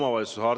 Palun!